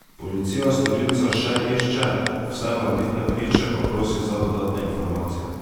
Policija storilca še išče, vse morebitne priče pa prosi za dodatne informacije.